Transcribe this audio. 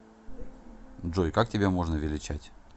джой как тебя можно величать